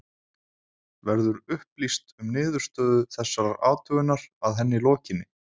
Verður upplýst um niðurstöðu þessarar athugunar að henni lokinni?